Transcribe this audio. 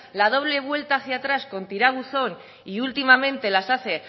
la doble vuelta hacia atrás con tirabuzón y últimamente las hace